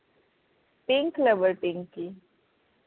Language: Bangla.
pink lover Pinki